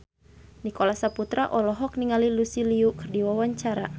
Nicholas Saputra olohok ningali Lucy Liu keur diwawancara